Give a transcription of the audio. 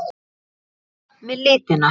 En hvað með litina?